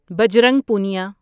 Bajrang Punia